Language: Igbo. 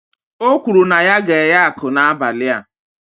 O kwuru na ya ga-eghe aku n'abalị a